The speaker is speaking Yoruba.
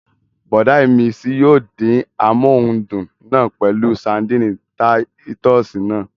Bùrọ̀dá ìmísí yóò dín amóhundùn náà pẹ̀lú ṣadínnì táyítọ́sì náà